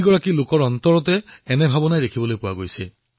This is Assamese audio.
আমাৰ এজনো বীৰ শ্বহীদ অপবাদ নহয় তেওঁলোকৰ পৰিয়াল অপবাদ নহয়